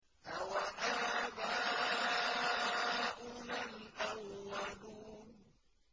أَوَآبَاؤُنَا الْأَوَّلُونَ